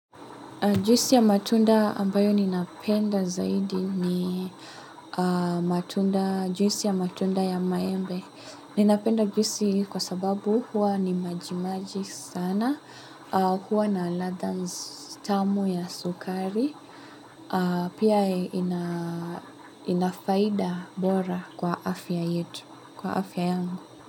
Juisi ya matunda ambayo ninapenda zaidi ni juisi ya matunda ya maembe. Ninapenda juisi kwa sababu huwa ni majimaji sana, huwa na ladha tamu ya sukari. Pia inafaida bora kwa afya yetu, kwa afya yangu.